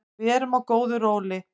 Við erum á góðu róli